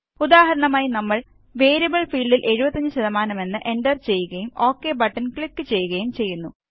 ഉദാഹരണമായി നമ്മള് വേരിയബിള് ഫീല്ഡില് 75 എന്ന് എന്റര് ചെയ്യുകയും ഒക് ബട്ടണ് ക്ലിക് ചെയ്യുകയും ചെയ്യുന്നു